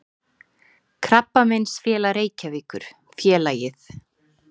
Krabbameinsfélag Reykjavíkur, félagið